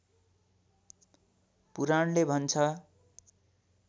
पुराणले भन्छ